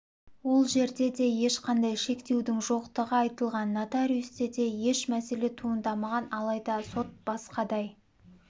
ол жерде де ешқандай шектеудің жоқтығы айтылған нотариусте де еш мәселе туындамаған алайда сот басқадай